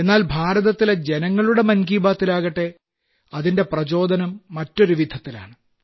എന്നാൽ ഭാരതത്തിലെ ജനങ്ങളുടെ മൻ കി ബാത്തിലാകട്ടെ അതിന്റെ പ്രചോദനം മറ്റൊരുവിധത്തിലാണ്